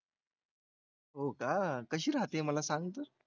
हो का कशी राहते मला सांग तू